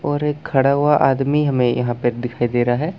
और एक खड़ा हुआ आदमी हैं यहाँ पे दिखाई दे रहा है।